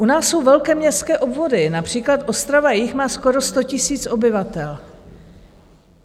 U nás jsou velké městské obvody, například Ostrava-Jih má skoro 100 000 obyvatel.